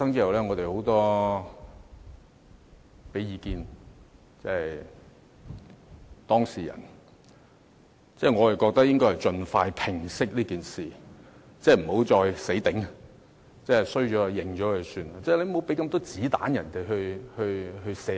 我認為當事人應盡快平息這件事，不要再"死頂"，錯了便承認，不要給泛民這麼多"子彈"射擊自己。